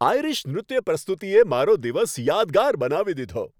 Irish નૃત્ય પ્રસ્તુતિએ મારો દિવસ યાદગાર બનાવી દીધો.